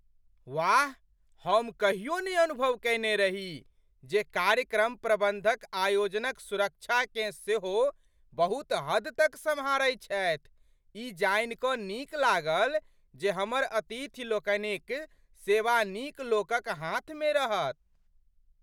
वाह, हम कहियो नहि अनुभव कएने रही जे कार्यक्रम प्रबन्धक आयोजनक सुरक्षाकेँ सेहो बहुत हद तक सम्हारै छथि! ई जानि कऽ नीक लागल जे हमर अतिथिलोकनिक सेवा नीक लोकक हाथमे रहत।